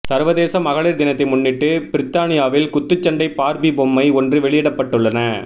சர்வதேச மகளிர் தினத்தை முன்னிட்டு பிரித்தானியாவில் குத்துச்சண்டை பார்பி பொம்மை ஒன்று வெளியிடப்பட்டுள